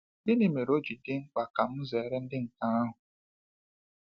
Gịnị mere o ji dị mkpa ka m zere ịdị ka nke ahụ?